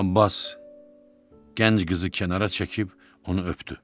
Abbas gənc qızı kənara çəkib onu öpdü.